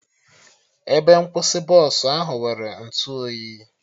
Ebe nkwụsị Bọsụ ahụ nwere ntụ oyi